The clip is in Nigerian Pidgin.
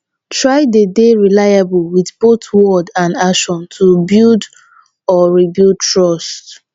try de dey reliable with both word and action to build or rebuild trust